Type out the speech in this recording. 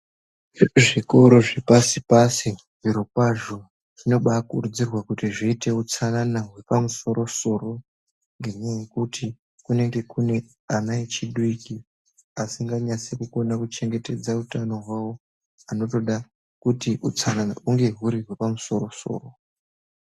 Zvikora zvepasi pasi zvirokwazvo zvinobaakurudzirwa kuti zviite utsanana hwepamusoro soro ngenyaya yekuti kunenge kune ana echidiki asinganyasi kukone kuchengetedza utano hwavo anotoda kuti utsanana hunge huri hwepamusoro soro.